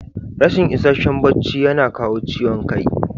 Rashin ishasshen bacci yana kawo ciwon kai.